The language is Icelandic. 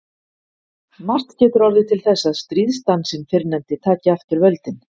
Margt getur orðið til þess að stríðsdansinn fyrrnefndi taki aftur völdin.